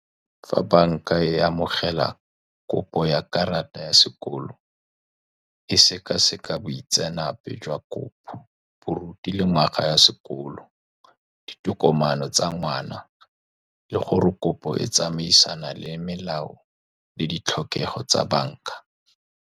Fa banka e amogela kopo ya karata ya sekoloto, e seka-seka boitseanape jwa kopo, boruti le ngwaga ya sekolo, ditokomane tsa ngwana, le gore kopo e tsamaisana le melao le ditlhokego tsa banka.